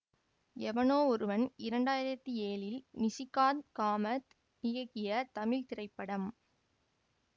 எவனோ ஒருவன் இரண்டு ஆயிரத்தி ஏழில் நிஷிகாந்த் காமத் இயக்கிய தமிழ் திரைப்படம்